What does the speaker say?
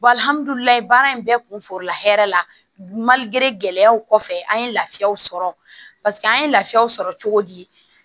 baara in bɛɛ kun forola hɛrɛ la gɛlɛyaw kɔfɛ an ye lafiyaw sɔrɔ paseke an ye lafiyaw sɔrɔ cogo di